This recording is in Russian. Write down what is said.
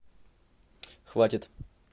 хватит